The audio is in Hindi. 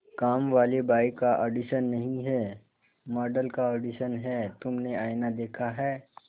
कामवाली बाई का ऑडिशन नहीं है मॉडल का ऑडिशन है तुमने आईना देखा है